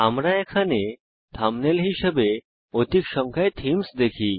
আমরা এখানে থাম্বনেল হিসেবে অধিক সংখ্যায় থীমস দেখি